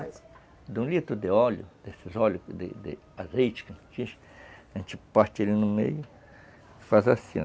Até de um litro de óleo, desses óleos de de azeite que a gente tira, a gente parte ele no meio e faz assim ó